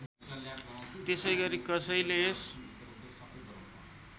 त्यसैगरी कसैले यस